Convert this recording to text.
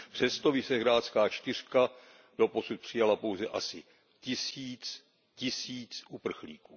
Přesto Visegrádská čtyřka doposud přijala pouze asi tisíc uprchlíků.